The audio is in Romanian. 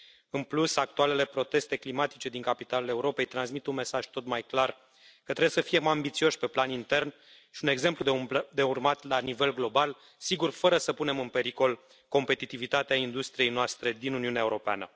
În plus, actualele proteste climatice din capitalele Europei transmit un mesaj tot mai clar că trebuie să fim mai ambițioși pe plan intern și un exemplu de urmat la nivel global, sigur, fără să punem în pericol competitivitatea industriei noastre din Uniunea Europeană.